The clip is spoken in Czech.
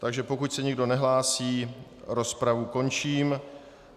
Takže pokud se nikdo nehlásí, rozpravu končím.